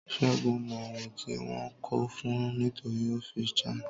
Sẹgun mọ ohun tí wọn ko fun nítorí ó fi chant.